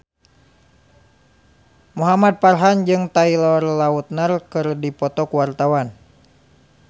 Muhamad Farhan jeung Taylor Lautner keur dipoto ku wartawan